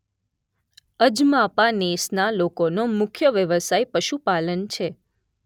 અજમાપા નેસના લોકોનો મુખ્ય વ્યવસાય પશુપાલન છે.